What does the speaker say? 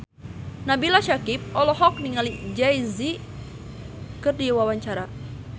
Nabila Syakieb olohok ningali Jay Z keur diwawancara